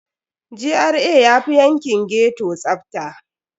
GRA yafi yankin ghetto tsafta.